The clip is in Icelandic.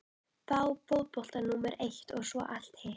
Fá fótboltann númer eitt og svo allt hitt?